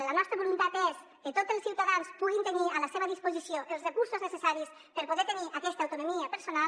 la nostra voluntat és que tots els ciutadans puguin tenir a la seva disposició els recursos necessaris per poder tenir aquesta autonomia personal